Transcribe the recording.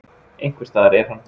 Einhvers staðar er hann.